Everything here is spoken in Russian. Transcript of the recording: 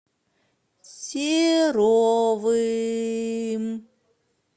серовым